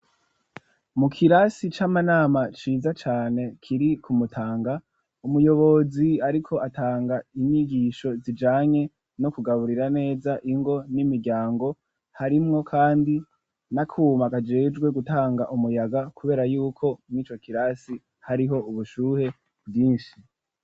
Mu kirasi c'amanama ciza cane kiri ku Mutanga, umuyobozi ariko atanga inyigisho zijanye no kugaburira neza ingo n'imiryango, harimwo kandi n'akuma kajejwe gutanga umuyaga kubera yuko n'ico kirasi hariho ubushuhe bwinshi.